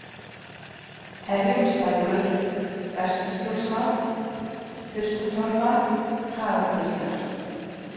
Herjólfslækur, Bestaskjólsvað, Tuskutorfa, Hagakvíslar